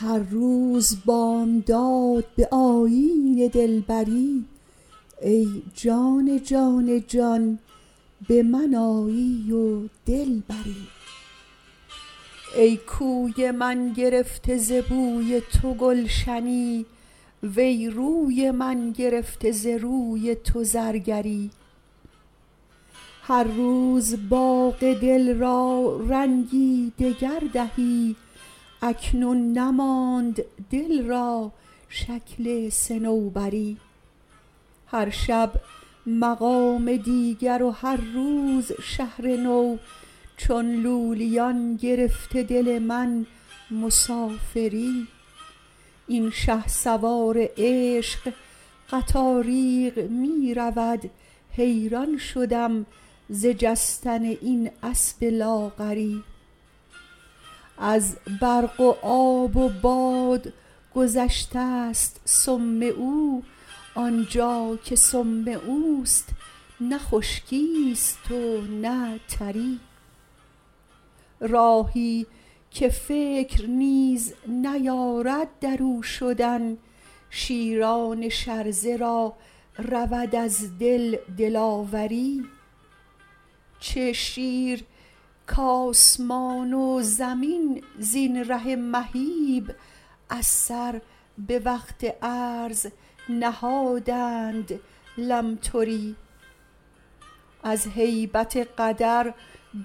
هر روز بامداد به آیین دلبری ای جان جان جان به من آیی و دل بری ای کوی من گرفته ز بوی تو گلشنی وی روی من گرفته ز روی تو زرگری هر روز باغ دل را رنگی دگر دهی اکنون نماند دل را شکل صنوبری هر شب مقام دیگر و هر روز شهر نو چون لولیان گرفته دل من مسافری این شهسوار عشق قطاریق می رود حیران شدم ز جستن این اسب لاغری از برق و آب و باد گذشته ست سم او آن جا که سم او است نه خشکی است و نه تری راهی که فکر نیز نیارد در او شدن شیران شرزه را رود از دل دلاوری چه شیر کآسمان و زمین زین ره مهیب از سر به وقت عرض نهادند لمتری از هیبت قدر